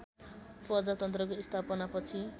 प्रजातन्त्रको स्थापनापछि